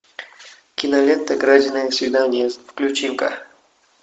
кинолента краденое свидание включи ка